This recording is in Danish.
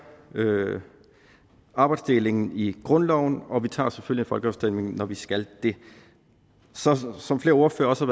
arbejdsdelingen i grundloven og vi tager selvfølgelig en folkeafstemning når vi skal det som flere ordførere også